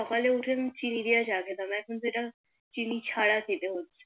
সকালে উঠে আমি চিনি দিয়া চা খেতাম এখন সেটা চিনি ছাড়া খেতে হচ্ছে